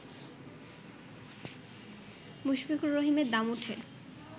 মুশফিকুর রহিমের দাম উঠে